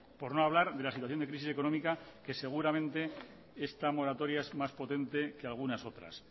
por no hablar de la situación de crisis económica que seguramente esta moratoria es más potente que algunas otras